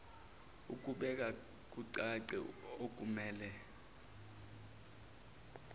ekubeka kucace okumele